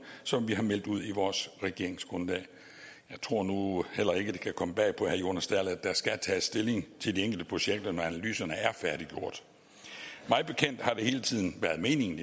som vi har meldt ud i vores regeringsgrundlag jeg tror nu heller ikke det kan komme bag på herre jonas dahl at der skal tages stilling til de enkelte projekter når analyserne er færdiggjort mig bekendt har det hele tiden været meningen